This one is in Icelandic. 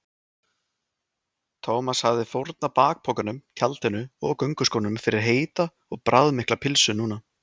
Thomas hefði fórnað bakpokanum, tjaldinu og gönguskónum fyrir heita og bragðmikla pylsu núna.